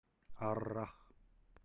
аррах